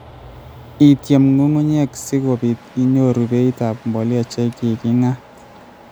Ityem ng'ung'unyek si kobiit inyoor beit ap mbolea che ki king'at.